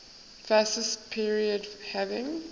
fascist period having